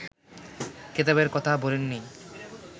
কেতাবের কথা ভোলেন নি